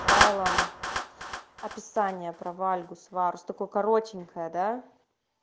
файлом описание про вальгус варус такой коротенькой да